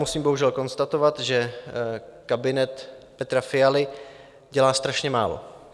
Musím bohužel konstatovat, že kabinet Petra Fialy dělá strašně málo.